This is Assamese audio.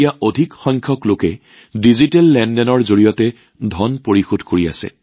অৰ্থাৎ এতিয়া মানুহে অধিক হাৰত ডিজিটেল পেমেণ্ট কৰিছে